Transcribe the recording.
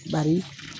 Bari